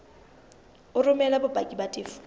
o romele bopaki ba tefo